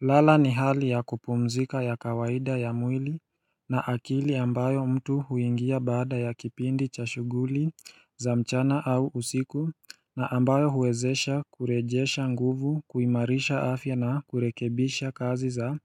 Lala ni hali ya kupumzika ya kawaida ya mwili na akili ambayo mtu huingia baada ya kipindi cha shughuli za mchana au usiku na ambayo huwezesha kurejesha nguvu kuimarisha afya na kurekebisha kazi za